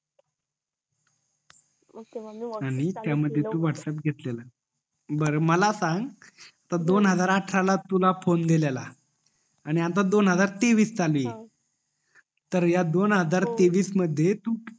आणि त्या मधी तू व्हॅटप्प्स घेतलेलं बर मला सांग दोन हजार अठरा ला तुला फोन दिलेला आणि आता दोन हजार तेवीस चालू ये तर या दोन हजार तेवीस मध्ये तू